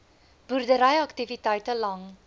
boerdery aktiwiteite lang